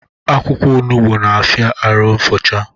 Akwụkwọ onugbu na-afia arụ nfucha